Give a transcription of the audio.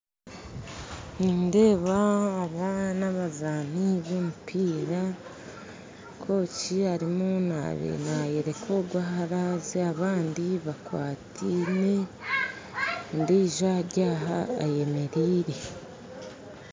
Nindeeba abaana abazaani bomupiira kooki ariyo nayooreka ogu aharaaze abandi bakwataine ondiijo aryaha ayemereire